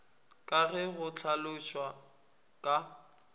ka ge go hlalošwa ka